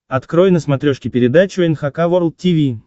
открой на смотрешке передачу эн эйч кей волд ти ви